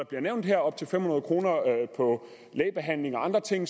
bliver nævnt op til fem hundrede kroner for lægebehandling og andre ting